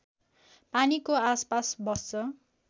पानीको आसपास बस्छ